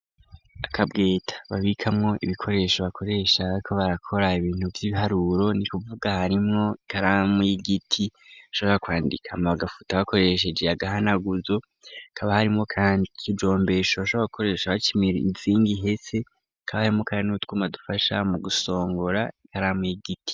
Akabweta babikamwo ibikoresho bakoresha bariko barakora ibintu vy'ibiharuro ni kuvuga harimwo ikaramu y'igiti ishobora kwandika bagafuto bakoresha agahanaguzo hakaba harimwo kandi ikijombesho bashobora gukoresho baca imizingi ihese hakaba harimwo kandi n'utwuma dufasha mu gusongora ikaramu y'igiti.